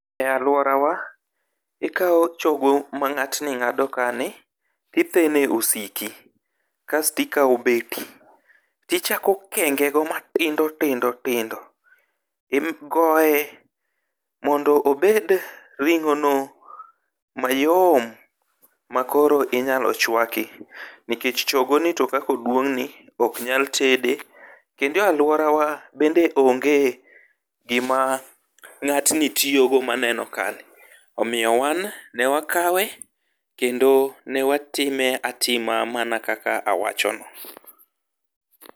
e aluorawa ikawo chogo ma ngatni ngado kae ni ,ithene e osiko kae to ikawo beti tichako kenge go matindo tindo tindo, igoye mondo obed ringo no mayom makoro inyalo chwaki nikech chogo ni to kaka oduongni ok nyal tede, kendo e aluorawa bende onge gima ngatni tiyo go maneno kani ,omiyo wan ne wakewa kendo watime atima mana kaka awachono.